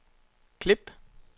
klip